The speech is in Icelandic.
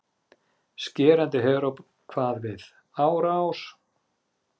Skerandi heróp kvað við: ÁRÁS